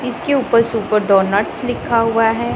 इसके ऊपर super donuts लिखा हुआ है।